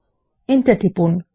enter টিপুন